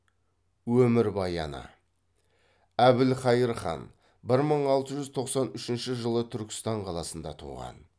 өмірбаяны әбілқайыр хан бір мың алты жүз тоқсан үшінші жылы түркістан қаласында туған